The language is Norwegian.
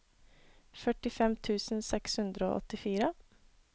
førtifem tusen seks hundre og åttifire